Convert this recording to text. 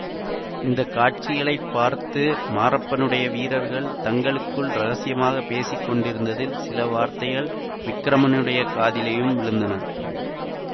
இந்த காட்சிகளை பார்த்து மாரப்பனுடைய வீரர்கள் தங்களுக்குள் இரகசியமாக பேசி கொண்டிருந்ததில் சில வார்த்தைகள் விக்கிரமனுடைய காதிலும் விழுந்தன